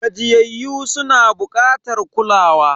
Gajiyayyu suna bukatar kulawa.